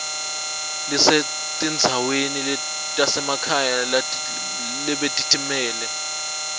lisetindzaweni tasemakhaya lebetitimele